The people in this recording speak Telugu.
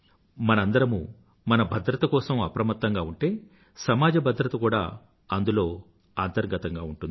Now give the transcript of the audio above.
మనందరమూ మన భద్రత కోసం అప్రమత్తంగా ఉంటే సమాజ భద్రత కూడా అందులో అంతర్గతంగా ఉంటుంది